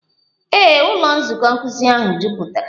Ee, ụlọ nzukọ nkuzi ahụ jupụtara.